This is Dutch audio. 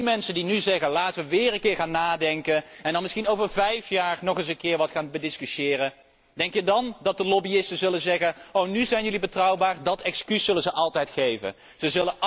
Als we nu zeggen laten we weer een keer gaan nadenken en dan misschien over vijf jaar nog eens wat gaan discussiëren, denk je dan dat de lobbyisten zullen zeggen oh, nu zijn jullie betrouwbaar? Met dat excuus zullen ze altijd aankomen.